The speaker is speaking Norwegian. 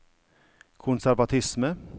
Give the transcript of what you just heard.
konservatisme